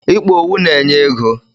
Ịkpa owu na-enye ego.